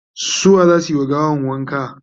su wa zasu wa gawan wanka?